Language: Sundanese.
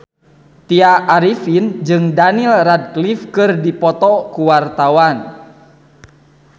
Tya Arifin jeung Daniel Radcliffe keur dipoto ku wartawan